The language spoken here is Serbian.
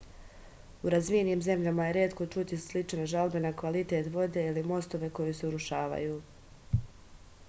u razvijenim zemljama je retko čuti slične žalbe na kvalitet vode ili mostove koji se urušavaju